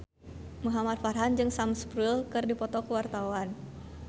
Muhamad Farhan jeung Sam Spruell keur dipoto ku wartawan